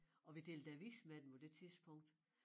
Og vi delte avis med dem på det tidspunkt